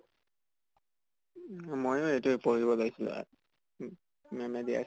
ময়ো এতিয়া পঢ়িব ওলাইছিলো আৰু উ ma'am দিয়া